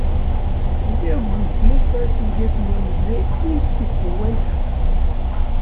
E dey good make person get money wey im keep for when kasala burst